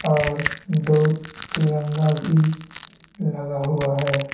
और दो तिरंगा भी लगा हुआ है।